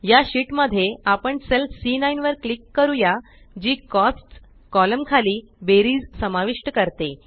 या शीट मध्ये आपण सेल सी9 वर क्लिक करूया जी कोस्ट्स कॉलम खाली बेरीज समाविष्ट करते